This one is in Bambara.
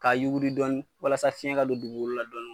K'a yuguri dɔni walasa fiɲɛ ka ka se don dugukolo la dɔni